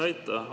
Aitäh!